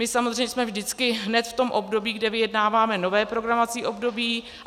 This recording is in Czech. My samozřejmě jsme vždycky hned v tom období, kde vyjednáváme nové programovací období.